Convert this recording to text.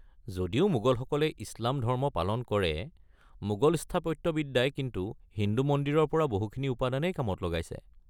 যদিও মোগলসকলে ইছলাম ধৰ্ম পালন কৰে, মোগল স্থাপত্যবিদ্যাই কিন্তু হিন্দু মন্দিৰৰ পৰা বহুখিনি উপাদানেই কামত লগাইছে।